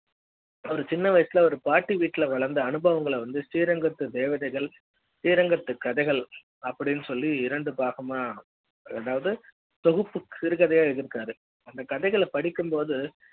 அவரு சின்ன வயசுல ஒரு பாட்டி வீட்ல வளர்ந்து அனுபவங்கள வந்து ஸ்ரீரங்கத்து தேவதைகள் ஸ்ரீரங்கத்து கதைகள் அப்படினு சொல்லி இரண்டு பாகமா அதாவது தொகுப்பு சிறுகதையை எழுதிருக்காரு அந்த கதைகள் படிக்கும்போது